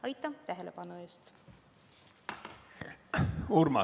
Aitäh tähelepanu eest!